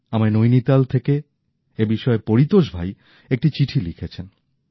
আমায় নৈনিতাল থেকে এ বিষয়ে পরিতোষ ভাই একটি চিঠি লিখেছেন